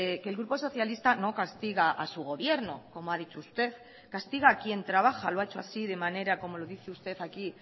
que el grupo socialista no castiga a su gobierno como ha dicho usted castiga a quien trabaja lo ha hecho así de manera como lo dice usted aquí